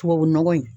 Tubabu nɔgɔ in